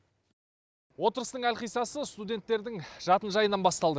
отырыстың әлқиссасы студенттердің жатын жайынан басталды